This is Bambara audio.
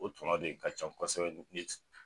O tuma de ka ca kosɛbɛ